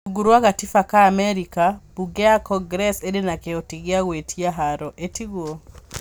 Rungu rwa gatiba ka Amerika, mbunge ya Congress ĩrĩ na kĩhoti gĩa gwĩtia haro, ĩtiguo?